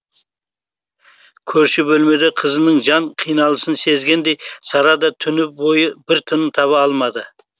көрші бөлмеде қызының жан қиналысын сезгендей сара да түні бойы бір тыным таба алмады